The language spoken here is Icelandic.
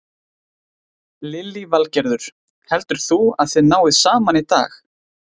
Lillý Valgerður: Heldur þú að þið náið saman í dag?